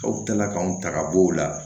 Aw kilala k'anw ta ka bɔ o la